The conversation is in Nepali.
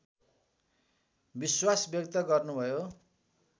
विश्वास व्यक्त गर्नुभयो